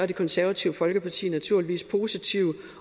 det konservative folkeparti naturligvis positivt